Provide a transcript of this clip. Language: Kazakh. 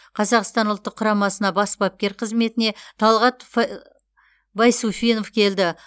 қазақстан ұлттық құрамасына бас бапкер қызметіне талғат байсуфинов келді